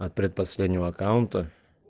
от предпоследнего аккаунта